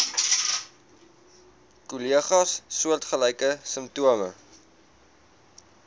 kollegas soortgelyke simptome